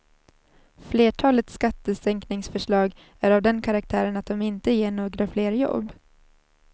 Flertalet skattesänkningsförslag är av den karaktären att de inte ger några fler jobb.